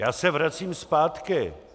Já se vracím zpátky.